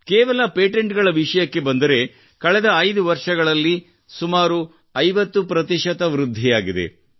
ಕೇವಲ ಪೇಟೆಂಟ್ ಗಳ ವಿಷಯಕ್ಕೆ ಬಂದರೆ ಕಳೆದ ಐದು ವರ್ಷಗಳಲ್ಲಿ ಇದರಲ್ಲಿ ಸುಮಾರು 50 ಪ್ರತಿಶತ ವೃದ್ಧಿಯಾಗಿದೆ